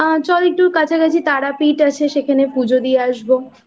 চল একটু কাছাকাছি তারাপীঠ আছে সেখানে পুজো দিয়ে আসব।